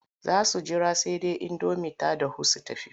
Za su jira sai indomin ta dahu sai su tafi.